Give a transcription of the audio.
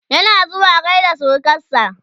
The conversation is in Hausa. yana zuwa gaida surukansa?